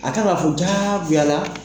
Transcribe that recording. A kan ka fɔ jagoya la.